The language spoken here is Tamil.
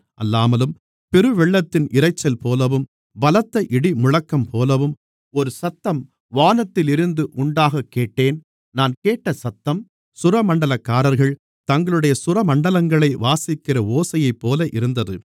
அல்லாமலும் பெருவெள்ளத்தின் இரைச்சல்போலவும் பலத்த இடிமுழக்கம்போலவும் ஒரு சத்தம் வானத்திலிருந்து உண்டாகக் கேட்டேன் நான் கேட்ட சத்தம் சுரமண்டலக்காரர்கள் தங்களுடைய சுரமண்டலங்களை வாசிக்கிற ஓசையைப்போல இருந்தது